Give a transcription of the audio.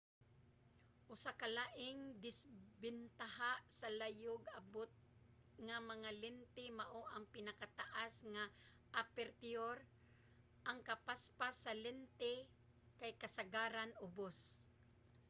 usa ka laing disbentaha sa layog-abot nga mga lente mao ang pinakataas nga apertiyur ang kapaspas sa lente kay kasagaran ubos